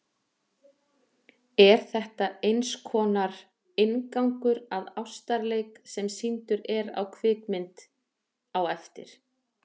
Er þetta einskonar inngangur að ástarleik, sem sýndur er á kvikmynd á eftir.